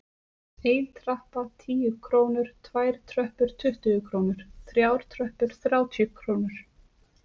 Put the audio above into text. Ein trappa- tíu krónur, tvær tröppur- tuttugu krónur, þrjár tröppur- þrjátíu krónur.